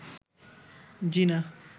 জিনা